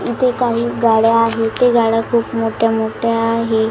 इथे काही गाड्या आहेत ते गाड्या खूप मोठ्या मोठ्या आहे.